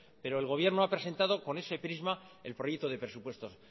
pero el gobierno ha presentado con ese prisma el proyecto de presupuestos